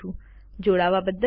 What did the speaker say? જોડાવા બદ્દલ આભાર